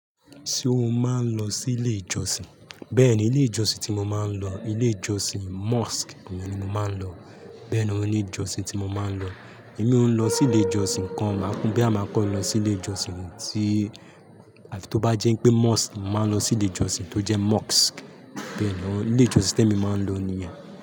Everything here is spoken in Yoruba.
Ṣé mo máa ń lọ sí ilé ìjọsìn? Bẹ́ẹ̀ni, ilé ìjọsìn tí mo máa ń lọ, ilé ìjọsìn Mosque oun ni mo máa ń lọ. Bẹ́ẹ̀ ni oun ni ilé ìjọsìn tí mo máa ń lọ. Èmi ò ń lọ sí ilé ìjọsìn kan, màá kún bí a máa kọ́ lọ sí ilé ìjọsìn tí-- àfi tó bá jẹ́ pé Mosque, màá lọ sí ilé ìjọsìn tó jẹ́ Mosque. Bẹ́ẹ̀ ni ọ, ilé ìjọsìn tí èmi máa ń lọ ni yẹn.